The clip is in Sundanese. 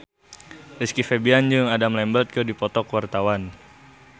Rizky Febian jeung Adam Lambert keur dipoto ku wartawan